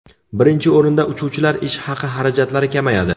Birinchi o‘rinda uchuvchilar ish haqi xarajatlari kamayadi.